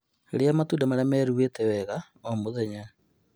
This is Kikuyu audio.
Rĩa matunda marĩa meruhĩte wega oro mũthenya